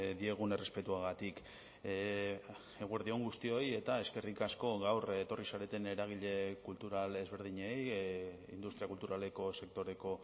diegun errespetuagatik eguerdi on guztioi eta eskerrik asko gaur etorri zareten eragile kultural ezberdinei industria kulturaleko sektoreko